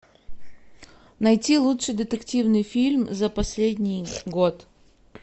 найти лучший детективный фильм за последний год